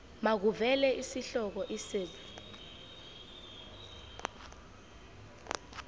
makuvele isihloko isib